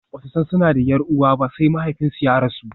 Ba su san suna da 'yar uwa ba sai mahaifinsu ya rasu.